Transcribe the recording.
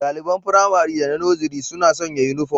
Daliban Firamare da na Nursery suna sanya uniform